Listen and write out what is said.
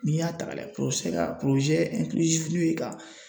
N'i y'a ta k'a lajɛ ka min ye ka